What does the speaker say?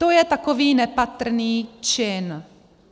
To je takový nepatrný čin.